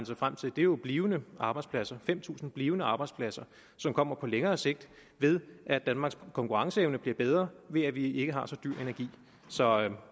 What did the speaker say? sig frem til er jo blivende arbejdspladser fem tusind blivende arbejdspladser som kommer på længere sigt ved at danmarks konkurrenceevne bliver bedre ved at vi ikke har så dyr energi så